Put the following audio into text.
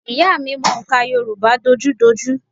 Ìyá à mi mọ òǹkà Yorùbá dojúdojú